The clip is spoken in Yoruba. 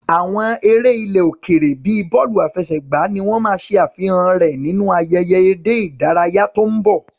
Àwọn eré ilẹ̀ òkèèrè bíi bọ́ọ̀lù àfẹsẹ̀gbá ni wọ́n máa ṣe àfihàn rẹ̀ nínú ayẹyẹ eré ìdárayá tó ń bọ̀.